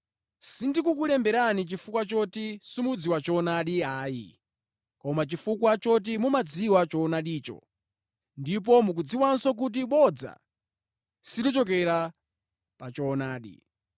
Sindikukulemberani chifukwa choti simudziwa choonadi ayi, koma chifukwa choti mumadziwa choonadicho, ndipo mukudziwanso kuti bodza silichokera pa choonadi.